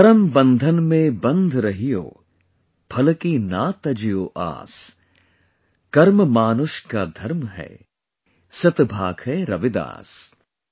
'KARAM BANDHAN MEIN BANDH RAHIYO, PHAL KI NA TAJJIYO AAS | KARMA MAANUSH KA DHARMA HAI, SAT BHAAKHAI RAVIDAS ||